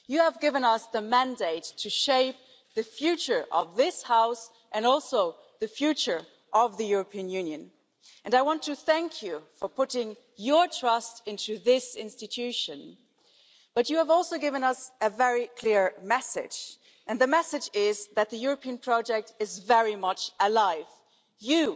You have given us the mandate to shape the future of this House, and also the future of the European Union, and I want to thank you for putting your trust in this institution. But you have also given us a very clear message, and the message is that the European project is very much alive. You,